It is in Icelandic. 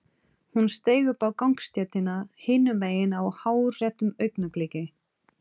Hún steig upp á gangstéttina hinum megin á hárréttu augnabliki.